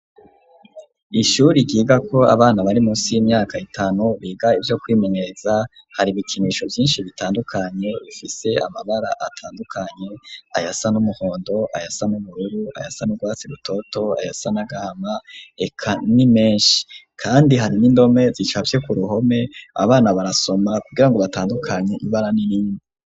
Ishuri ryigako abana bari munsi y'imyaka itanu biga ivyo kwimenyereza, hari ibikinisho vyinshi bitandukanye bifise amabara atandukanye, ayasa n'umuhondo, ayasa n'ubururu, ayasa n'urwatsi rutoto ayasa n'agahama, eka ni meshi. Kandi hari n'indome zicafye ku ruhome, abana barasoma kugira ngo batandukanye ibara n'irindi.